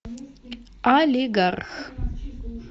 олигарх